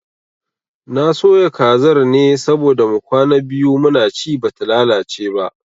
Na soya kazar ne saboda mu kwana biyu muna ci bata lalace ba